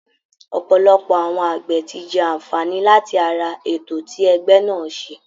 Ọ̀pọ̀lọpọ̀ àwọn àgbẹ̀ ti jẹ àǹfààní láti ara ètò tí ẹgbẹ́ náà ṣe